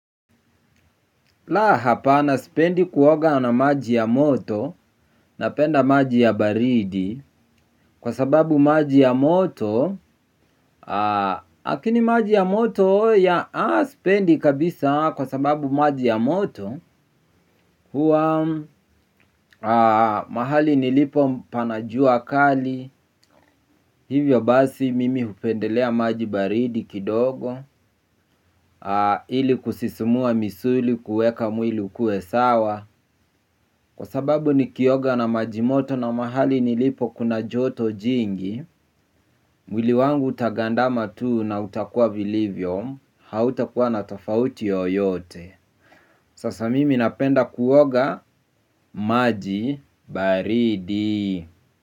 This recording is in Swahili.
La hapana spendi kuoga na maji ya moto napenda maji ya baridi kwa sababu maji ya moto hakini maji ya moto ya spendi kabisa kwa sababu maji ya moto huwa mahali nilipo pana jua kali hivyo basi mimi hupendelea maji baridi kidogo. Ili kusisumua misuli kueka mwili ukue sawa. Kwa sababu nikioga na maji moto na mahali nilipo kuna joto jingi mwili wangu utagandama tuu na utakuwa vilivyo. Hautakuwa na tofauti yooyote. Sasa mimi napenda kuoga. Maji baridi.